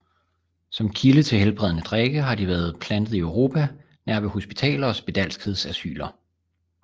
Som kilde til helbredende drikke har de været plantet i Europa nær ved hospitaler og spedalskhedsasyler